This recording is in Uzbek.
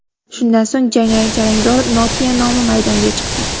Shundan so‘ng, jarangdor Nokia nomi maydonga chiqdi.